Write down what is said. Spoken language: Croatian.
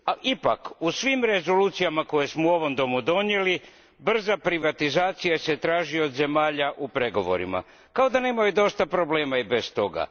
Ipak, u svim rezolucijama koje smo u ovom domu donijeli, brza privatizacija se traži od zemalja u pregovorima, kao da nemaju dosta problema i bez toga.